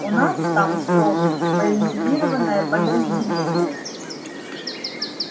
у вас там что военизированное подразделение